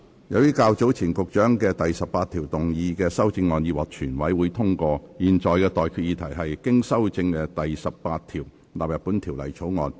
由於較早前局長就第18條動議的修正案已獲全委會通過，我現在向各位提出的待決議題是：經修正的第18條納入本條例草案。